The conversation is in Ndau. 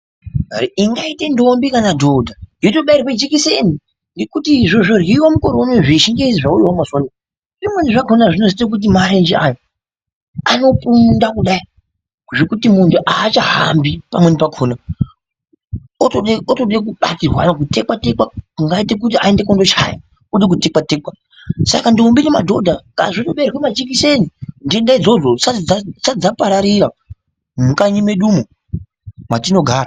Ingaita ndombi kana dhodha, yotobairwa jikiseni ngekuti zvozvodyriwa mukore unowu zvechingezi zvauyawo mazuwa anaya zvimweni zvakhona zvinozoita kuti marenje ayaa anoponda kudai zvekuti muntu aachahambi pamweni pakhona. Otoda otoda kubatirwana kutekwa tekwa kungaita kuti aende kundochaya oda kutekwa tekwa. Saka ndombi nemadhodha ngazvitobairwa majikiseni nhenda idzodzo dzisati dzapararira mukanyi medumo matinogara.